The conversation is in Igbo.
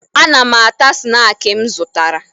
Ana m ata snaakị m zụtara